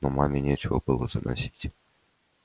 но маме нечего было заносить